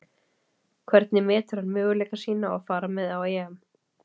Hvernig metur hann möguleika sína á að fara með á EM?